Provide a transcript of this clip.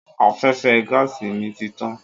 Afẹ́fẹ́ gáàsì mi ti tán.